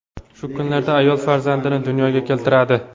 Shu kunlarda ayol farzandini dunyoga keltiradi.